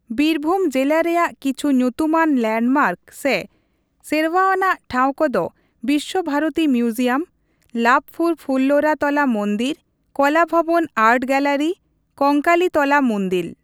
ᱵᱤᱨᱵᱷᱩᱢ ᱡᱤᱞᱟ ᱨᱮᱭᱟᱜ ᱠᱤᱪᱷᱩ ᱧᱩᱛᱩᱢᱟᱱ ᱞᱮᱱᱰᱢᱟᱨᱠ ᱥᱮ ᱥᱮᱨᱣᱟᱱᱟᱜ ᱴᱷᱟᱶ ᱠᱚᱫᱚ ᱵᱤᱥᱥᱚᱵᱷᱟᱨᱚᱛᱤ ᱢᱤᱣᱡᱤᱭᱟᱢ, ᱞᱟᱵᱷᱯᱩᱨ ᱯᱷᱩᱞᱞᱚᱨᱟ ᱛᱚᱞᱟ ᱢᱩᱱᱫᱤᱞ, Kala Bhavan art gallery, Kankalitala ᱢᱩᱱᱫᱤᱞ ᱾